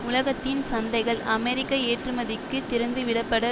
உலகத்தின் சந்தைகள் அமெரிக்க ஏற்றுமதிக்கு திறந்துவிடப்பட